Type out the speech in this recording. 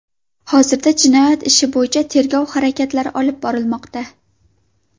Hozirda jinoyat ishi bo‘yicha tergov harakatlari olib borilmoqda.